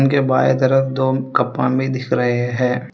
इनके बाय तरफ दो कप दिख रहे हैं।